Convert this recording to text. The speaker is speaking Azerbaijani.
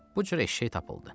Bu cür eşşək tapıldı.